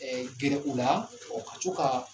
Ɛe gɛrɛ u la ka to ka